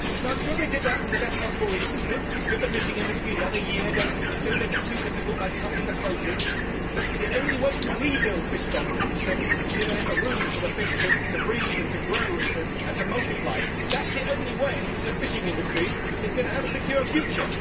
I am sure they did that for the best possible reasons give the fishing industry another year, do not make it too difficult by cutting the quotas but only when you rebuild fish stocks, give a bit of room for the fish to breathe and to grow and to multiply, that is the only way in which the fishing industry is going to have a secure future.